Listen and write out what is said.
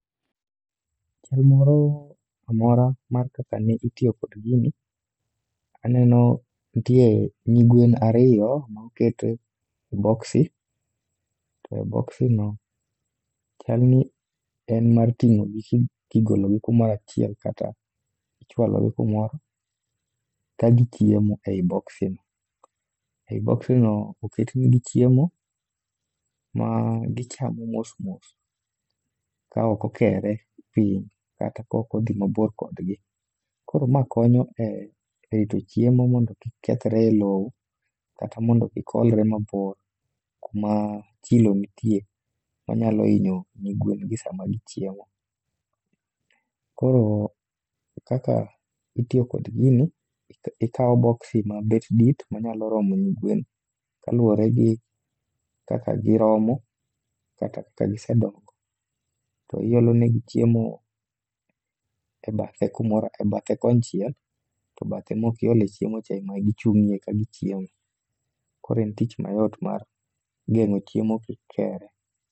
Chenro amora mar kaka ne itiyo kod gini, aneno ntie nyigwen ariyo ma oket e boksi. To boksi no chalni en mar ting'ogi kigologi kumorachiel kata ichwalogi kumoro, ka gichiemo ei boksino. Ei boksino oketnegi chiemo, ma gichamo mos mos, kaok okere pin kata kaok odhi mabor kodgi. Koro ma konyo e, e rito chiemo mondo kik kethre e lowo, kata mondo kik olre mabor kuma chilo nitie. Manyalo inyo nyigwen gi sama gichiemo. Koro kaka itiyo kod gini, ikawo boksi ma bet dit manyalo romo nyigwen, kaluwore gi kaka giromo. Kata kaka gisedongo, to iolonegi chiemo e bathe kumoro, e bathe konchiel to bathe mokiole chiemo cha ema gichung'e ka gichiemo. Koro en tich mayot mar geng'o chiemo kik kere.